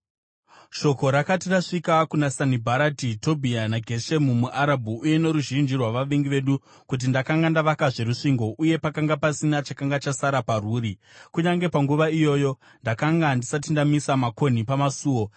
Shoko rakati rasvika kuna Sanibharati, Tobhia naGeshemu muArabhu uye noruzhinji rwavavengi vedu kuti ndakanga ndavakazve rusvingo uye pakanga pasina chakanga chasara parwuri, kunyange panguva iyoyo ndakanga ndisati ndamisa makonhi pamasuo,